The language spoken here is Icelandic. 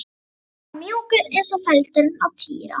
Hann var mjúkur eins og feldurinn á Týra.